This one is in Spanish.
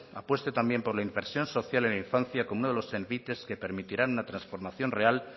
apueste también por la inversión social en infancia como uno de los envites que permitirán la transformación real